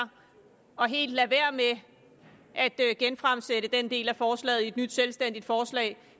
og helt lader være med at genfremsætte den del af forslaget i et nyt selvstændigt forslag